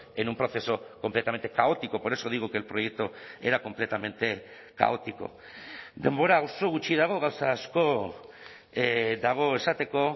en un proceso completamente caótico por eso digo que el proyecto era completamente caótico denbora oso gutxi dago gauza asko dago esateko